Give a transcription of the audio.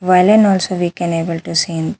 Violin also we can able to seen.